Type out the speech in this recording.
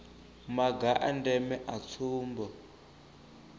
maga a ndeme a tsumbo